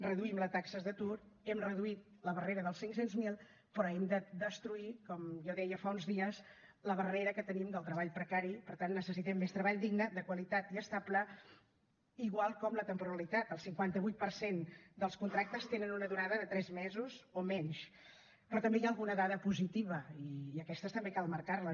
reduïm les taxes d’atur hem reduït la barrera dels cinc cents miler però hem de destruir com jo deia fa uns dies la barrera que tenim del treball precari per tant necessitem més treball digne de qualitat i estable igual com la temporalitat el cinquanta vuit per cent dels contractes tenen una durada de tres mesos o menys però també hi ha alguna dada positiva i aquestes també cal marcar les